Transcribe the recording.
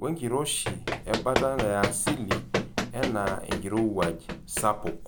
wenkiroshi ebata yaasili enaa enkirowuaj sapuk.